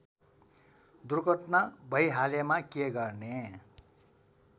दुर्घटना भैहालेमा के गर्ने